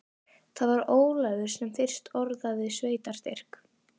Það var Ólafur sem fyrst orðaði sveitarstyrk.